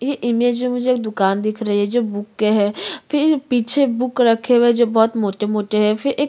ये इमेज में मुझे एक दुकान दिख री है जो बुके है फिर पीछे बुक रखे हुए है जो बहुत मोटे -मोटे है फिर एक --